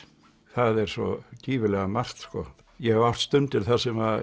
það er svo gífurlega margt ég hef átt stundir þar sem